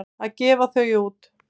Að gefa þau út!